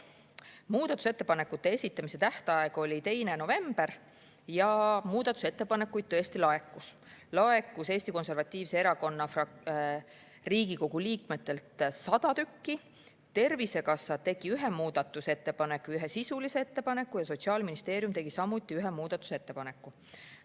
Muudatusettepanekute esitamise tähtaeg oli 2. november ja muudatusettepanekuid tõesti laekus – Eesti Konservatiivse Rahvaerakonna Riigikogu liikmetelt tuli 100 tükki, Tervisekassa tegi ühe muudatusettepaneku ja ühe sisulise ettepaneku ja Sotsiaalministeerium tegi samuti ühe muudatusettepaneku.